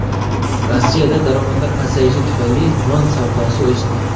Rossiyada daromadlar pasayishi tufayli non savdosi o‘sdi.